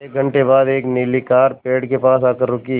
एक घण्टे बाद एक नीली कार पेड़ के पास आकर रुकी